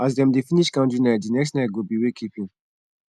as dem dey finish candlenite di next nite go bi wakekeeping